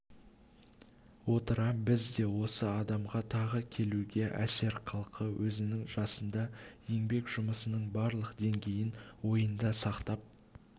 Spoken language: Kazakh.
отыра бізде осы адамға тағы келуге әсерқалды өзінің жасында еңбек жұмысының барлық деңгейін ойында сақтап